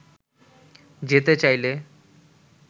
যেতে চাইলে